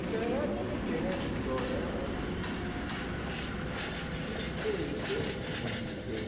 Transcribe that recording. Estranhar aqui é diferente de só, né, mas não sei bem como dizer...